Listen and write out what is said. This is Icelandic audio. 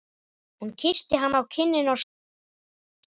Hún kyssti hann á kinnina og stóð upp.